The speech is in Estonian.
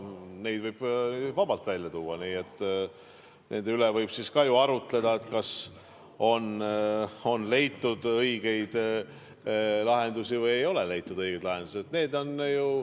Neid võib vabalt välja tuua, nende üle võib ka ju arutleda, et kas on leitud õigeid lahendusi või ei ole leitud õigeid lahendusi.